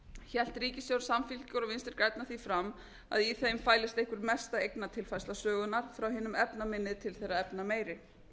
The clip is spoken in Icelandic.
hélt ríkisstjórn samfylkingar og vinstri grænna því fram að í þeim fælist einhver mesta eignatilfærsla sögunnar frá hinum efnaminni til þeirra efnameiri